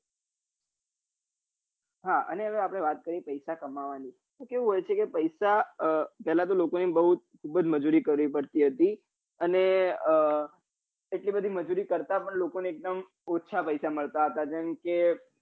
હા અને હવે આપડે વાત કરીએ પૈસા કમાવાની તો કેવું હોય છે કે પૈસા પેલા તો લોકોની બહુ ખુબજ મજૂરી કરવી પડતી હતી અને એટલી બધી મજૂરી કરતા પણ લોકો ને એકદમ ઓછા પૈસા મળતા હતા જેમ કે